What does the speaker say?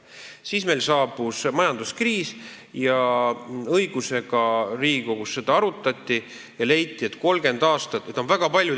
Siis saabus meil majanduskriis ja õigusega Riigikogus seda arutati ja leiti, et 30 aastat on liiga palju.